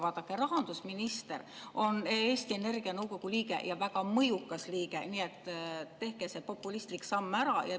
Vaadake, rahandusminister on Eesti Energia nõukogu liige, ja väga mõjukas liige, nii et tehke see populistlik samm ära.